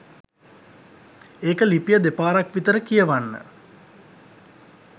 ඒක ලිපිය දෙපාරක් විතර කියවන්න